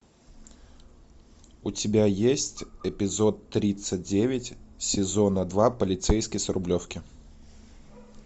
у тебя есть эпизод тридцать девять сезона два полицейский с рублевки